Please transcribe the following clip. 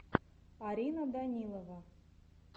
арина данилова